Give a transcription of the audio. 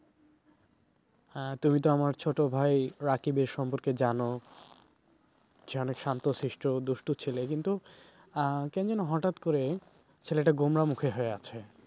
তুমি তো আমার ছোট ভাই রাকিবের সম্পর্কে জানো সে অনেক শান্তশিষ্ট্য দুষ্টু ছেলে কিন্তু কেমন যেন হঠাৎ করে ছেলেটা গোমরা মুখে হয়ে আছে।